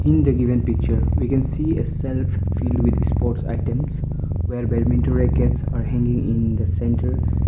in the given picture we can see a shelf filled with sports items where badminton rackets are hanging in the centre.